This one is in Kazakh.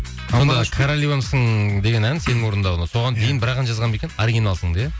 сонда королевамсың деген ән сенің орындауында соған дейін бір ақ жазған ба екен оригиналсыңды иә